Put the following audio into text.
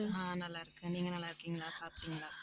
ஆஹ் நல்லா இருக்கேன். நீங்க நல்லா இருக்கீங்களா சாப்பிட்டிங்களா